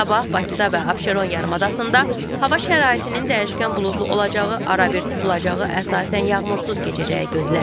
Sabah Bakıda və Abşeron yarımadasında hava şəraitinin dəyişkən buludlu olacağı, arabir tutulacağı, əsasən yağmursuz keçəcəyi gözlənilir.